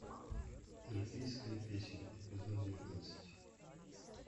эльфийская песнь эпизод девятнадцать